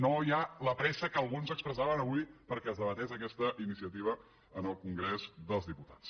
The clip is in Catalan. no hi ha la pressa que alguns expressaven avui perquè es debatés aquesta iniciativa en el congrés dels diputats